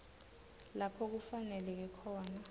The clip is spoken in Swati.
lapho kufaneleke khona